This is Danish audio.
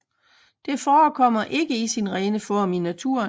Det forekommer ikke i sin rene form i naturen